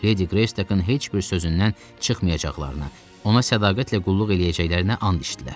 Ledi Qreystokun heç bir sözündən çıxmayacaqlarına, ona sədaqətlə qulluq eləyəcəklərinə and içdilər.